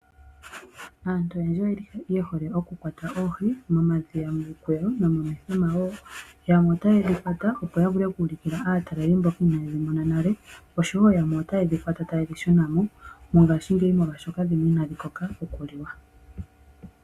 Aantu oyendji oyeli yehole okukwata oohi momadhiya, miikweyo nomomithima woo. Yamwe otaye dhi kwata opo yavule oku ulukila aatalelipo mboka inaye dhimona nale oshowo yamwe otaye dhikwata taye dhi shuna mo mongashingeyi molwashoka dhimwe inadhi koka okuliwa.